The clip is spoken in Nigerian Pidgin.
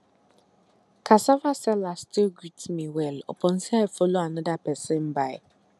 cassava seller still greet me well upon say i follow another persin buy